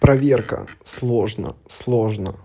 проверка сложно сложно